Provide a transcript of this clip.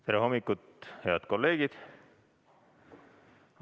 Tere hommikust, head kolleegid!